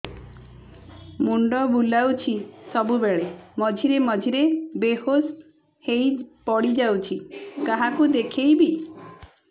ମୁଣ୍ଡ ବୁଲାଉଛି ସବୁବେଳେ ମଝିରେ ମଝିରେ ବେହୋସ ହେଇ ପଡିଯାଉଛି କାହାକୁ ଦେଖେଇବି